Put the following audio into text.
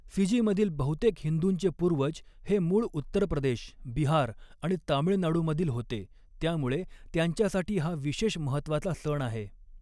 फिजीमधील बहुतेक हिंदूंचे पूर्वज हे मूळ उत्तर प्रदेश, बिहार आणि तामीळनाडूमधील होते, त्यामुळे त्यांच्यासाठी हा विशेष महत्त्वाचा सण आहे.